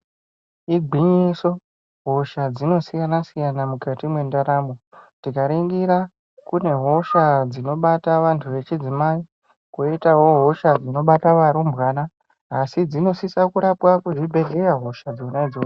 Igwinyiso hosha dzinosiyanasiyana mukati mwendaramo ,tikaringira kune hosha dzinobata vantu vechidzimai toitawo hosha dzinobata varumbwana asi dzinosisa kurapwa kuzvibhehleya hosha dzona idzodzo.